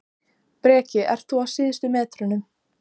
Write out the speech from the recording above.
Breki: Ert þú á síðustu metrunum?